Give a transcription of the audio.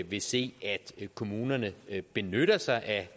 vil se at kommunerne benytter sig af